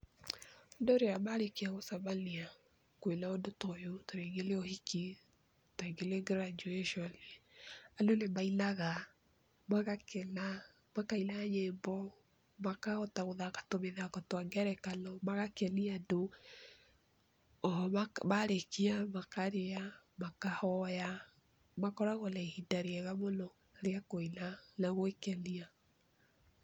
Ũndũ ũyũ marĩkia gũcemania kwĩna ũndũ ta ũyũ ta rĩngĩ nĩ ũhiki ta rĩngĩ nĩ graduation andũ nĩ mainaga ,magakena, makaina nyĩmbo, makahota gũthaka tũmĩthako twa ngerekano, magakenia andũ, oho marĩkia makarĩa, makahoya ,makoragwana ihinda rĩega mũno rĩa kũina gwĩkenia.